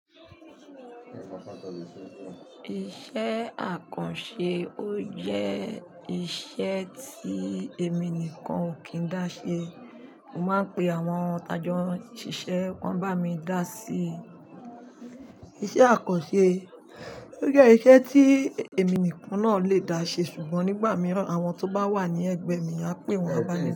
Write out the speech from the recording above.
Iṣẹ́ àkànṣe ó jẹ́ iṣẹ́ tí èmi nìkan ò kí n dá ṣe. Mo máa ń pe àwọn tajo n sìṣẹ́, wọ́n bá mi dá sí i. Iṣẹ́ àkànṣe ó jẹ́ iṣẹ́ tí èmi nìkan náà lè dá ṣe ṣùgbọ́n nígbà mìíràn, àwọn tó bá wà ní ẹgbẹ́ mi, a pè wọ́n bá mi ṣe.